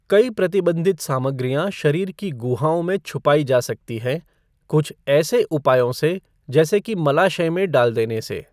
कई प्रतिबंधित सामग्रियाँ शरीर की गुहाओं में छुपाई जा सकती हैं, कुछ ऐसी उपायों से जैसे कि मलाशय में डाल देने से।